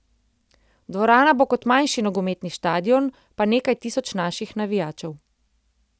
Dvorana bo kot manjši nogometni štadion, pa nekaj tisoč naših navijačev.